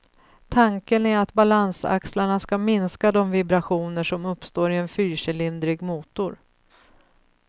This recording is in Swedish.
Tanken är att balansaxlarna ska minska de vibrationer som uppstår i en fyrcylindrig motor.